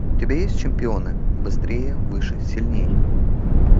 у тебя есть чемпионы быстрее выше сильнее